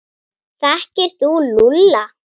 Þekkir þú Lúlla?